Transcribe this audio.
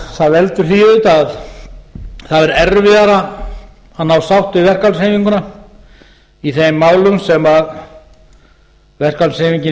það veldur því auðvitað að það er erfiðara að ná sátt við verkalýðshreyfinguna í þeim málum sem verkalýðshreyfingin